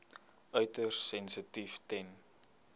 uiters sensitief ten